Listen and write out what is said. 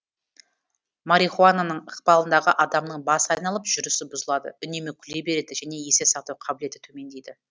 марихуананың ықпалындағы адамның басы айналып жүрісі бұзылады үнемі күле береді және есте сақтау қабілеті төмендейді